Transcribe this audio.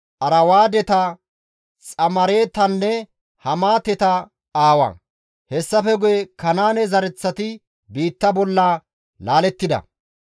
Arwaadeta, Xamaaretanne Hamaateta aawa. Hessafe guye Kanaane zereththati biitta bolla laalettida.